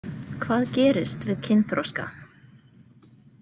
Hvað gerist við kynþroska?